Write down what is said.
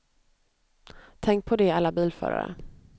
Tänk på det, alla bilförare.